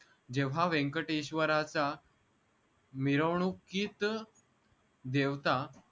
जेव्हा व्यंकटेश्वराचा मिरवणुकीत देवता